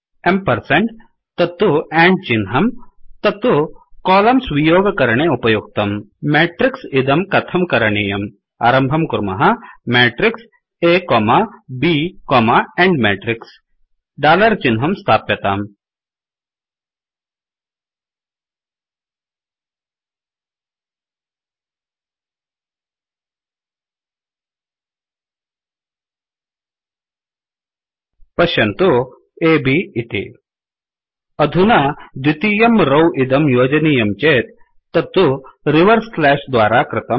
ampersand तत्तु and चिह्नं तत्तु कोलम्स् वियोग करणे उपयुक्तम् मेट्रिक्स् इदं कथं करणीयम् आरम्भं कुर्मः matrixमेट्रिक्स् अ ब् एण्ड matrixएण्ड् मेत्रिक्स् डालर् चिहनं स्थाप्यताम् पश्यन्तु अब् इति अधुना द्वितीयं रौ इदं योजनीयं चेत् तत्तु रिवर्स् स्लाश् द्वारा कृतम्